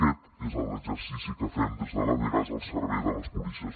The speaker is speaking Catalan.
aquest és l’exercici que fem des de la dgas al servei de les policies